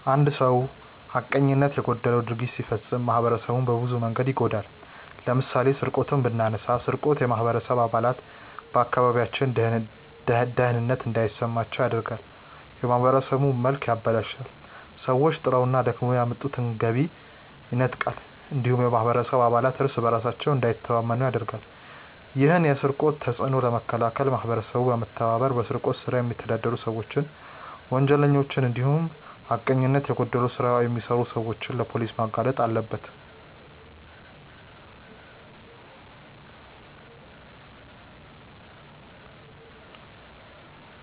አንድ ሰው ሀቀኝነት የጎደለው ድርጊት ሲፈጽም ማህበረሰቡን በብዙ መንገድ ይጎዳል። ለምሳሌ ስርቆትን ብናነሳ ስርቆት የማህበረሰቡ አባላት በአካባቢያቸው ደህንነት እንዳይሰማቸው ያደርጋል፣ የማህበረሰቡን መልክ ያበላሻል፣ ሰዎች ጥረውና ደክመው ያመጡትን ገቢ ይነጥቃል እንዲሁም የማህበረሰቡ አባላት እርስ በእርሳቸው እንዳይተማመኑ ያደርጋል። ይህን የስርቆት ተጽዕኖ ለመከላከል ማህበረሰቡ በመተባበር በስርቆት ስራ የሚተዳደሩ ሰዎችን፣ ወንጀለኞችን እንዲሁም ሀቀኝነት የጎደለው ስራ የሚሰሩ ሰዎችን ለፖሊስ ማጋለጥ አለበት።